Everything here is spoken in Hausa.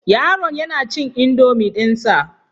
Yaron yana cin indomie dinsa.